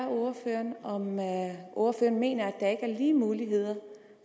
ordføreren om ordføreren mener at der er lige muligheder